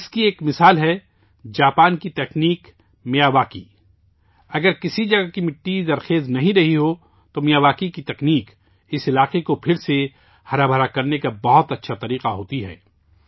اس کی ایک مثال ہے جاپان کی تکنیک میاواکی ، اگر کسی جگہ کی مٹی زرخیز نہیں رہی ہو، تو میاواکی تکنیک اس علاقے کو دوبارہ سرسبز بنانے کا ایک بہت اچھا طریقہ کار ہوتی ہے